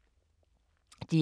DR K